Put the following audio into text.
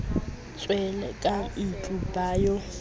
tswele ka ntlo ba yo